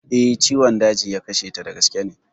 Eh, ciwon daji ya kashe ta, da gaske ne